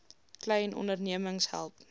klein ondernemings help